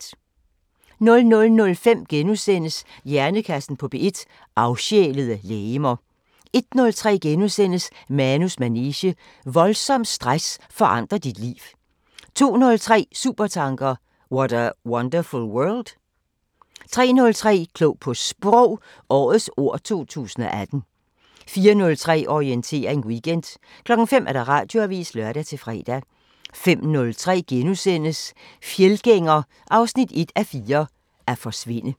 00:05: Hjernekassen på P1: Afsjælede legemer * 01:03: Manus manege: Voldsom stress forandrer dit liv * 02:03: Supertanker: What a wonderful world? 03:03: Klog på Sprog – Årets ord 2018 04:03: Orientering Weekend 05:00: Radioavisen (lør-fre) 05:03: Fjeldgænger 1:4 – At forsvinde * 05:33: